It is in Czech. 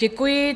Děkuji.